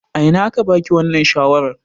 A ina aka ba ki wannan shawarar?